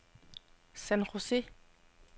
San José